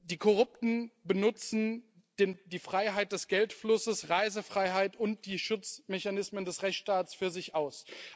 Die Korrupten nutzen die Freiheit des Geldflusses, Reisefreiheit und die Schutzmechanismen des Rechtstaats für sich aus.